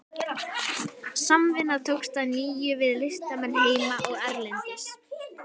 Samvinna tókst að nýju við listamenn heima og erlendis.